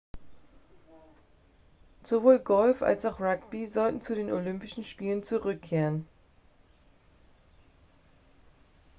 sowohl golf als auch rugby sollen zu den olympischen spielen zurückkehren